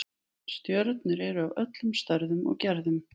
Stjörnurnar eru af öllum stærðum og gerðum.